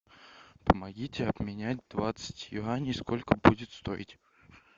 помогите обменять двадцать юаней сколько будет стоить